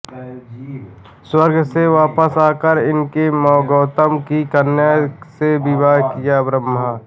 स्वर्ग से वापस आकर इसने गौतम की कन्या से विवाह किया ब्रह्म